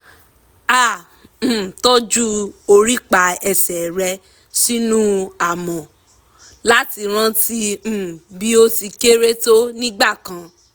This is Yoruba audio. ó kọ́ bí wọ́n ti ń juwọ́ pé ódàbọ̀ o sì gbìyànjú rẹ̀ pẹ̀lú gbogbo ẹni tó wà ní páàkì